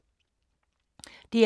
DR K